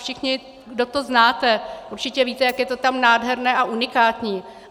Všichni, kdo to znáte, určitě víte, jak je to tam nádherné a unikátní.